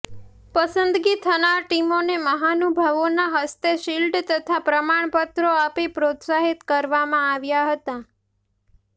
પસંદગી થનાર ટીમોને મહાનુભાવોના હસ્તે શિલ્ડ તથા પ્રમાણપત્રો આપી પ્રોત્સાહિત કરવામાં આવ્યા હતા